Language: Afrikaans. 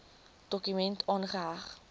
dokument aangeheg